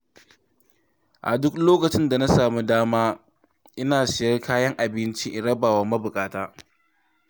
A duk lokacin da na sami dama ina Siyan kayan abinci in rabawa mabuƙata.